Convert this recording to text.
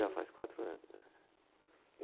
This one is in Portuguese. Já faz quatro anos. É